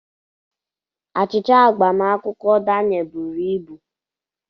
Achịcha agbamakwụkwọ Daniel buru ibu.